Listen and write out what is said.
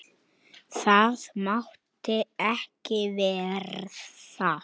Það mátti ekki verða.